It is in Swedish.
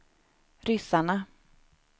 ryssarna